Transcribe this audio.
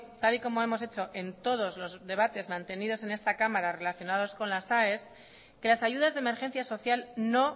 tal y como hemos hecho en todos los debates mantenidos en esta cámara relacionados con las aes que las ayudas de emergencia social no